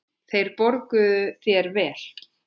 Þeir borguðu þér vel.